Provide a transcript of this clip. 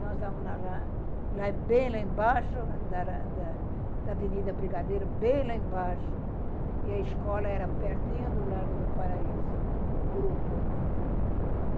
Nós estávamos bem lá embaixo da da da Avenida Brigadeiro, bem lá embaixo, e a escola era pertinho do Largo do Paraíso, o grupo.